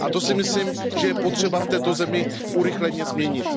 To si myslím, že je třeba v této zemi urychleně změnit.